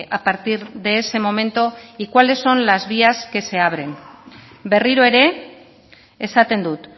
a partir de ese momento y cuáles son la vías que se abren berriro ere esaten dut